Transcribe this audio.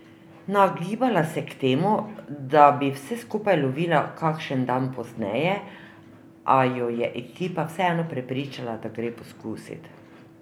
Nagibala se je k temu, da bi vse skupaj lovila kakšen dan pozneje, a jo je ekipa vseeno prepričala, da gre poskusit.